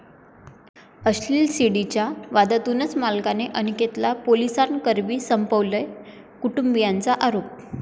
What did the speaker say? अश्लील सीडी'च्या वादातूनच मालकाने अनिकेतला पोलिसांकरवी संपवलं, कुटुंबियांचा आरोप